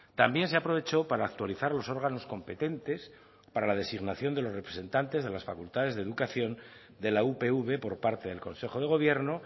también se aprovechó para actualizar los órganos competentes para la designación de los representantes de las facultades de educación de la upv por parte del consejo de gobierno